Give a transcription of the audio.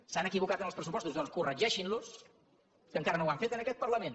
s’han equivocat en els pressupostos doncs corregeixin los que encara no ho han fet en aquest parlament